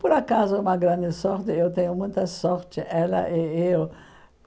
Por acaso, é uma grande sorte, eu tenho muita sorte, ela e eu.